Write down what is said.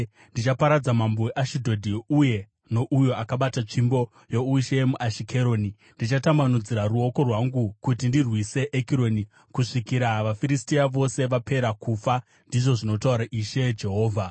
Ndichaparadza mambo weAshidhodhi uye nouyo akabata tsvimbo youshe muAshikeroni. Ndichatambanudzira ruoko rwangu kuti ndirwise Ekironi kusvikira vaFiristia vose vapera kufa,” ndizvo zvinotaura Ishe Jehovha.